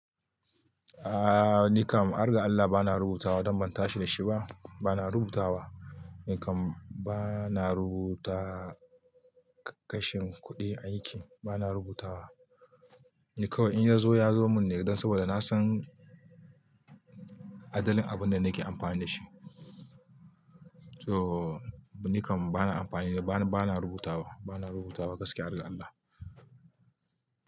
Aaa nikam, arga Allah bana rubutawa don ban tashi da shi ba. Bana rubutawa nikam bana rubuta kashin kuɗi aiki bana rubutawa. Ni kawai in ya zo ya zo mun ne don saboda na san adalin abin da nake amfani da shi. So nikam bana amfani da bana, bana rubutawa, bana rubutawa gaske arga Allah.